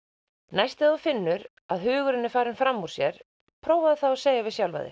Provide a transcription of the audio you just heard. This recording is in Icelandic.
næst þegar þú finnur að hugurinn er farinn fram úr sér prófaðu þá að segja við sjálfan þig